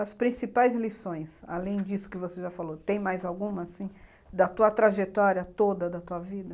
As principais lições, além disso que você já falou, tem mais alguma, assim, da tua trajetória toda, da tua vida?